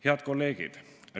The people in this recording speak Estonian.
Head kolleegid!